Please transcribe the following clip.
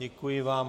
Děkuji vám.